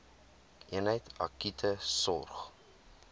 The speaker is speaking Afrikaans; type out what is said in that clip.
eenheid akute sorg